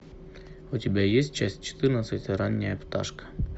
у тебя есть часть четырнадцать ранняя пташка